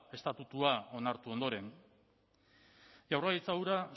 estatutua onartu ondoren jaurlaritza hura